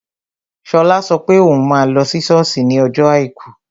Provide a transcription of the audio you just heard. Shola sọ pé òun máa lọ sí sọ́ọ̀sì ní ọjọ́ àìkú